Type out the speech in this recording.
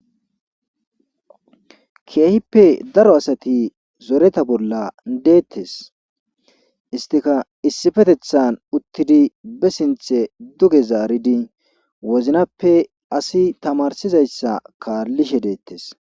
Keehippe daro asati zoreta bolla deettes istika issifetethan uttidi be sinthe duge zaaridi woznappe asi tamarsizayssa kaallishe deettes.